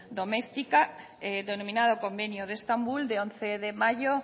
doméstica denominado convenio de estambul de once de mayo